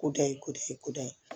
Koda ye kodɔ ye kodɔ ye